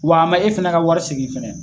Wa a e fana ka wari segin fana.